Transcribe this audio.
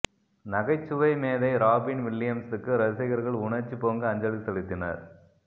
நகைச்சுவை மேதை ராபின் வில்லியம்ஸுக்கு ரசிகர்கள் உணர்ச்சி பொங்க அஞ்சலி செலுத்தினர்